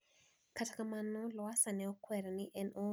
Kata kamano Lowassa ne okwer ni en oonge chenro machalo kamano